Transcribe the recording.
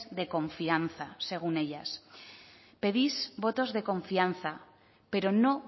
de confianza según ellas pedís votos de confianza pero no